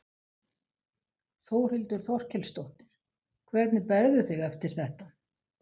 Þórhildur Þorkelsdóttir: Hvernig berðu þig eftir þetta?